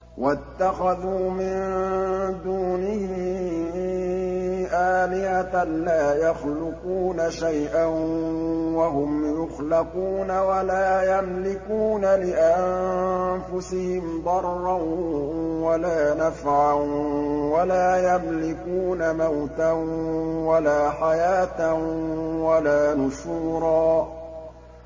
وَاتَّخَذُوا مِن دُونِهِ آلِهَةً لَّا يَخْلُقُونَ شَيْئًا وَهُمْ يُخْلَقُونَ وَلَا يَمْلِكُونَ لِأَنفُسِهِمْ ضَرًّا وَلَا نَفْعًا وَلَا يَمْلِكُونَ مَوْتًا وَلَا حَيَاةً وَلَا نُشُورًا